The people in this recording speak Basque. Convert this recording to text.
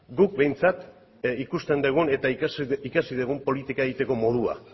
guk behintzat ikusten dugun eta ikasi dugun politika egiteko modua